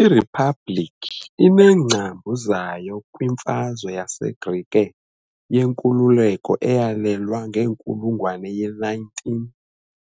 IRiphabhlikhi ineengcambu zayo kwiMfazwe yaseGrike yeNkululeko eyalwelwa ngenkulungwane ye-19